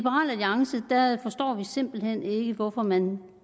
simpelt hen ikke hvorfor man